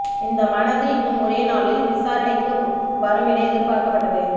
இந்த மனது இன்னும் ஓரிரு நாளில் விசாரணைக்கு வரும் என எதிர்பார்க்கப்பட்டது